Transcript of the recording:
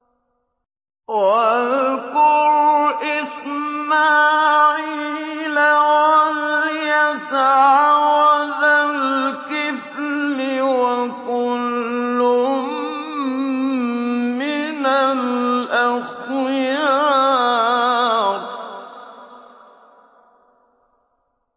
وَاذْكُرْ إِسْمَاعِيلَ وَالْيَسَعَ وَذَا الْكِفْلِ ۖ وَكُلٌّ مِّنَ الْأَخْيَارِ